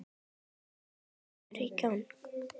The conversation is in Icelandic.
Ólafur kemur í gegn.